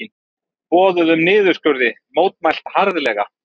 Boðuðum niðurskurði mótmælt harðlega